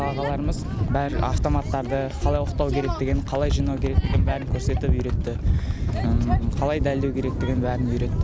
ағаларымыз бәрі автоматтарды қалай оқтау қалай жинау керектігін бәрін көрсетіп үйретті қалай дәлдеу керектігін бәрін үйретті